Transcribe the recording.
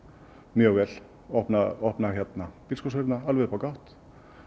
mjög vel opna opna alveg upp á gátt